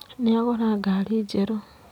Nĩ agũra ngari njerũ.